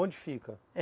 Onde fica?